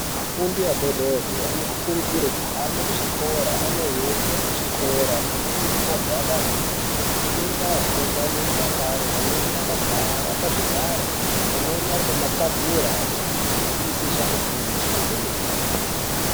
Vafundi adodori vanokurudzirwa kuhambe kuzvikora vane hembe dzezvikora pamweni nemagwada anodziya zvinoita afunde nerudakaro amweni agara pazvigaro amweni Ari pamatebhura achinzwisisa zvavari kufunda kwemene.